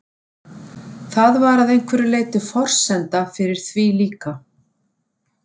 Það var að einhverju leyti forsenda fyrir því líka.